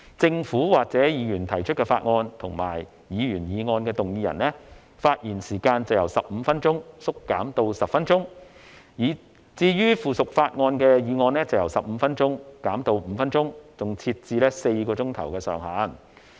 政府或議員提出法案及議員議案的動議人，發言時間由15分鐘縮減至10分鐘，至於附屬法例的議案則由15分鐘減至5分鐘，更設置4小時上限。